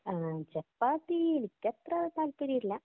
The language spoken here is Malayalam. അങ്ങനെ ചപ്പാത്തി എനിക്കത്ര താല്പര്യം ഇല്ല.